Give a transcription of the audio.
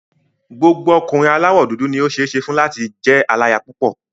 Gbogbo ọkùnrin aláwọ̀ dúdú ni ó ṣeé ṣe fún láti jẹ́ aláya púpọ̀.